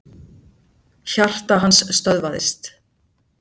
Hjarta hans stöðvaðist.